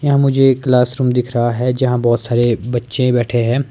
यहाँ मुझे ये क्लासरूम दिख रहा है जहाँ बहोत सारे बच्चे बैठे है।